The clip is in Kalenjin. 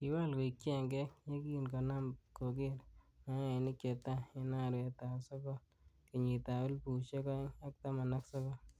Kiwal koing chengek, yekin konam kogeer mayainik che tai en arawetab Sogol kenyitab elfusiek oeng ak taman ak sogol.